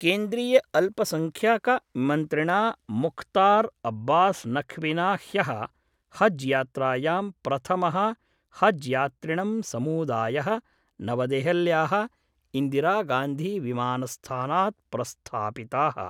केन्द्रीयअल्पसंख्यकमन्त्रिणा मुख्तार् अब्बास् नख्विना ह्यः हज् यात्रायाम् प्रथमः हज् यात्रिणां समूदायः नवदेहल्याः इन्दिरागांधीविमानस्थानात् प्रस्थापिताः।